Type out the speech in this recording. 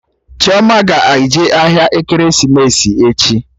Chioma ga-eje ahịa ekeresimesi echi